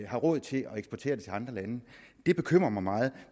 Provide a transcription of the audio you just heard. har råd til at eksportere det til andre lande det bekymrer mig meget